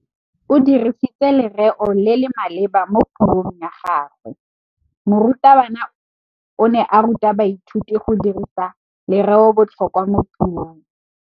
O dirisitse lerêo le le maleba mo puông ya gagwe. Morutabana o ne a ruta baithuti go dirisa lêrêôbotlhôkwa mo puong.